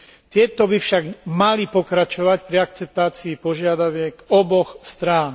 Tieto by však mali pokračovať pri akceptácii požiadaviek oboch strán.